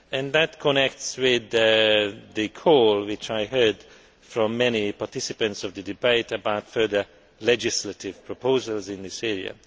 This connects with the call which I heard from many participants in the debate about further legislative proposals in this area.